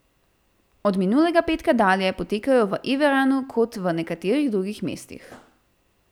Od minulega petka dalje potekajo tako v Erevanu kot v nekaterih drugih mestih.